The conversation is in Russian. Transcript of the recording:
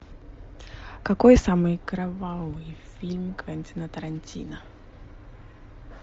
какой самый кровавый фильм квентина тарантино